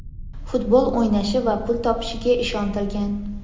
futbol o‘ynashi va pul topishiga ishontirgan.